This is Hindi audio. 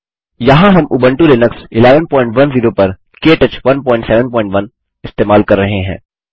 यहाँ हम उबंटू लिनक्स 1110 पर के टच 171 इस्तेमाल कर रहे हैं